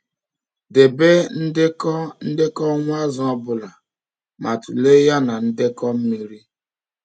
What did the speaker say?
Debe ndekọ ndekọ ọnwụ azụ ọbụla ma tụlee ya na ndekọ mmiri.